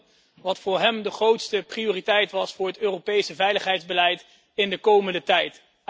Ik vroeg hem wat voor hem de grootste prioriteit was voor het Europese veiligheidsbeleid in de komende tijd.